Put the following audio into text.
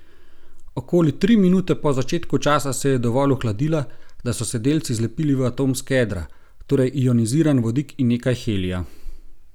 Okoli tri minute po začetku časa se je dovolj ohladila, da so se delci zlepili v atomska jedra, torej ioniziran vodik in nekaj helija.